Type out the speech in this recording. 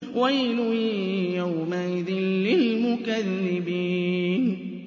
وَيْلٌ يَوْمَئِذٍ لِّلْمُكَذِّبِينَ